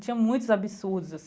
Tinha muitos absurdos